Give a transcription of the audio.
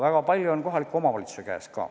Väga palju on ka kohaliku omavalitsuse käes.